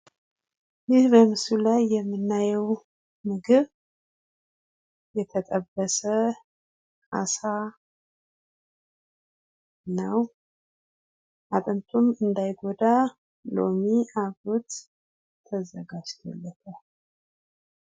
ይህ በምስሉ ላይ የምናየው ምግብ የተጠበሰ አሳ ነው። አጥንቱንም እንዳይጎዳ ሎሚ አብሮት ተዘጋጅቶለታል።